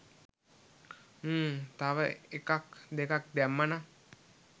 හ්ම්ම් තව එකක් දෙකක් දැම්මා නම්?